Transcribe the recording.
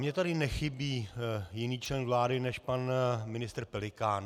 Mně tady nechybí jiný člen vlády než pan ministr Pelikán.